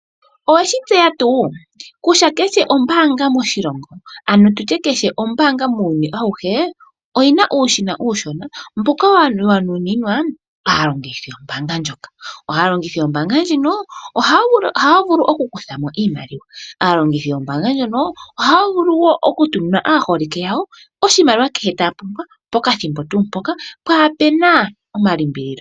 Owe shi tseya tuu kutya kehe ombaanga moshilongo, ano tu tye kehe ombaanga muuyuni auhe oyi na uushina uushona mboka wa nuninwa aalongithi yombaanga ndjoka. Aalongithi yombaanga ndjika ohaya vulu okukutha mo iimaliwa. Aalongithi yombaanga ndjoka ohaya vulu wo okutumina aaholike yawo oshimaliwa kehe taya pumbwa pokathimbo tuu mpoka kaapu na omalimbililo.